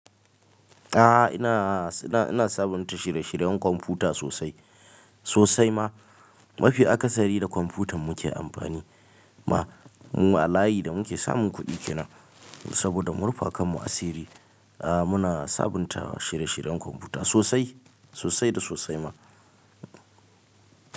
A'a ina, ina, ina sabunta shirye shiryen kwamfuta sosai, sosai ma. Mafi akasari da kwamfutan muke amfani ma. Mu a layi da muke samun kuɗi kenan saboda murfa kanmu asiri. A muna sabunta shirye shiryen kwamfuta sosai, sosai da sosai ma.